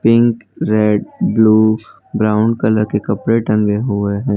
Pink red blue brown colour के कपड़े टंगे हुए है।